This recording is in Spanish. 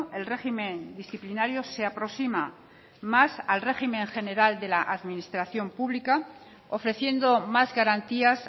el régimen disciplinario se aproxima más al régimen general de la administración pública ofreciendo más garantías